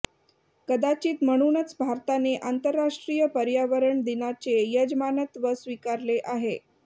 कदाचित म्हणूनच भारताने आंतरराष्ट्रीय पर्यावरण दिनाचे यजमानत्व स्वीकारले आहे